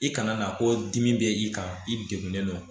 I kana na ko dimi bɛ i kan i degunnen don